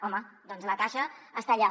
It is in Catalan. home doncs la caixa està allà